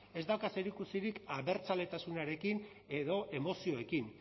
ez dauka zerikusirik abertzaletasunarekin edo emozioekin